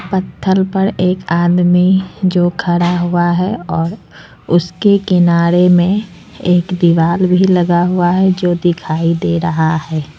पत्थल पर एक आदमी जो खड़ा हुआ है और उसके किनारे में एक दीवाल भी लगा हुआ है जो दिखाई दे रहा है।